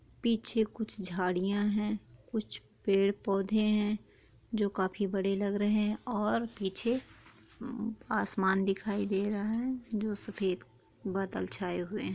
पीछे कुछ झड़िया है कुछ पेड़-पौधे है जो काफी बड़े लग रहे है और पीछे आसमान दिखाई दे रहा है जो सफेद बादल छाए हुए है।